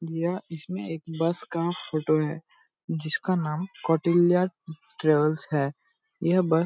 यह इसमे एक बस का फोटो है जिसका नाम कौटिल्य ट्रावेल्स है यह बस --